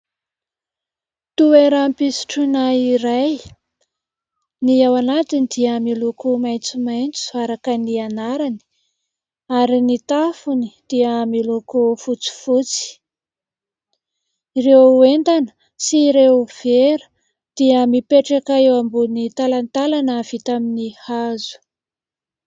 Toeram-pisotroana iray. Ny ao anatiny dia miloko maitsomaitso araka ny anarany ary ny tafony dia miloko fotsifotsy. Ireo entana sy ireo vera dia mipetraka eo ambony talantalana vita amin'ny hazo.